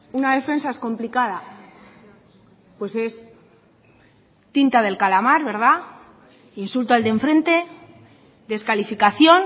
una defensa es complicada pues es tinta del calamar verdad insulto al de enfrente descalificación